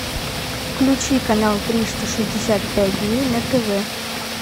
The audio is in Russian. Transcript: включи канал триста шестьдесят пять дней на тв